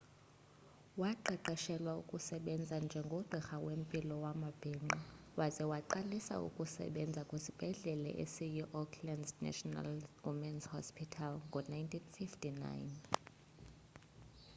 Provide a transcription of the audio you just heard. waqeqeshelwa ukusebenza njengogqirha wempilo yamabhinqa waza waqalisa ukusebenza kwisibhedlele esiyiauckland's national women's hospital ngo-1959